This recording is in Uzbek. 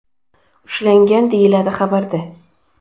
ushlangan”, deyiladi xabarda.